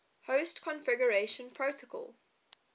host configuration protocol